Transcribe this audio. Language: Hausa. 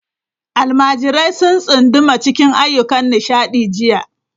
Almajirai sun tsunduma cikin ayyukan nishaɗi jiya.